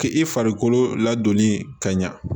K'i farikolo ladonni ka ɲa